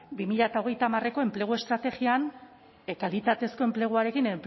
bi mila hogeita hamarreko enplegu estrategian kalitatezko enpleguarekin